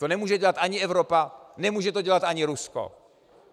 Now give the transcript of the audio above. To nemůže dělat ani Evropa, nemůže to dělat ani Rusko.